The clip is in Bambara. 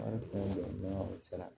An ye kungo jɔ sira la